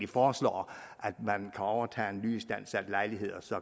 foreslår at man kan overtage en nyistandsat lejlighed og så